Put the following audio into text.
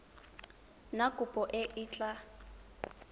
na kopo e e tla